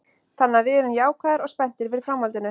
Þannig að við erum jákvæðir og spenntir fyrir framhaldinu.